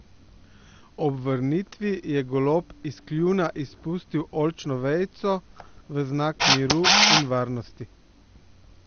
Ob vrnitvi je golob iz kljuna izpustil oljčno vejico v znak miru in varnosti.